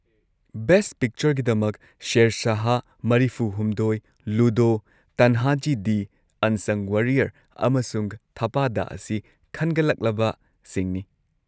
Best ꯄꯤꯛꯆꯔꯒꯤꯗꯃꯛ, ꯁꯦꯔꯁꯥꯍ, ꯸꯳, ꯂꯨꯗꯣ, ꯇꯟꯍꯥꯖꯤ-ꯗꯤ unsung warrior, ꯑꯃꯁꯨꯡ ꯊꯞꯄꯥꯗꯥ ꯑꯁꯤ ꯈꯟꯒꯠꯂꯛꯂꯕꯁꯤꯡꯅꯤ꯫